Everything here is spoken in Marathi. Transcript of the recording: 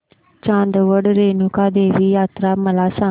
चांदवड रेणुका देवी यात्रा मला सांग